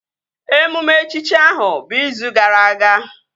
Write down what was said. Emume echichi ahụ bụ izu gara aga